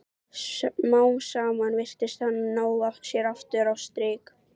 Smám saman virtist hann ná sér aftur á strik.